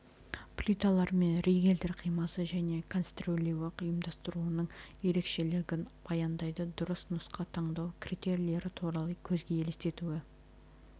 плиталар мен ригельдер қимасы және конструирлеуі ұйымдастыруының ерекшелігін баяндайды дұрыс нұсқа таңдау критерийлері туралы көзге елестетуі